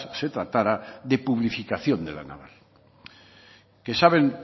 se tratara de publificación de la naval que saben